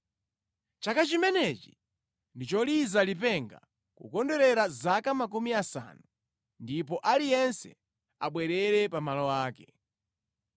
“ ‘Chaka chimenechi ndi choliza lipenga, kukondwerera zaka makumi asanu, ndipo aliyense abwerere pa malo ake.